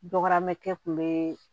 Dɔgɔmɛ kɛ kun be